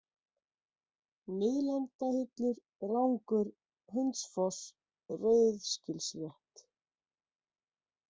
Miðlandahillur, Rangur, Hundsfoss, Rauðsgilsrétt